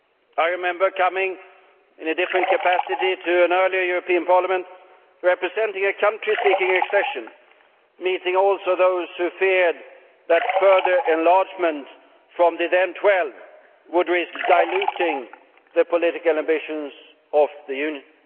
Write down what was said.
I remember coming in a different capacity to an earlier European Parliament representing a country seeking accession and also meeting those who feared that further enlargement from the then 12 would risk diluting the political ambitions of the Union.